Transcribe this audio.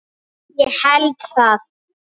Ég held það?